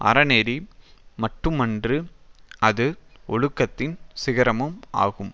அறநெறி மட்டுமன்று அது ஒழுக்கத்தின் சிகரமும் ஆகும்